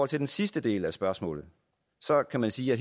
til den sidste del af spørgsmålet kan man sige at